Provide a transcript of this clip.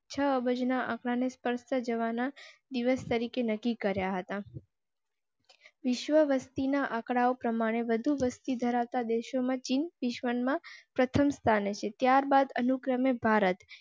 છ અબજના ને સ્પર્શતા જવા ના દિવસ તરીકે નક્કી કર્યા હતા. વિશ્વ વસતી ના આંકડાઓ પ્રમાણે વધુ વસ્તી ધરાવતા દેશો માં ચીન વિશ્વમાં પ્રથમ સ્થાને છે. ત્યારબાદ અનુક્રમે ભારત